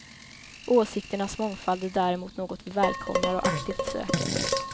Åsikternas mångfald är däremot något vi välkomnar och aktivt söker.